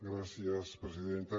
gràcies presidenta